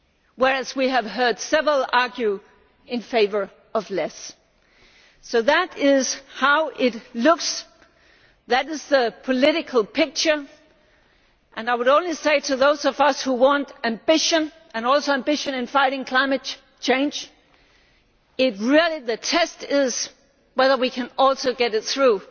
Whereas we have heard several argue in favour of less. That is how it looks, that is the political picture, and I would only say to those of us who want ambition, including ambition in fighting climate change, that the test is whether we can also get it through,